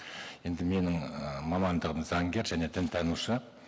енді менің і мамандығым заңгер және дінтанушы